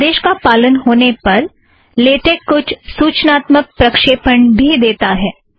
इस आदेश का पालन होने पर लेटेक कुछ सूचनात्मक प्रक्षेपण भी देता है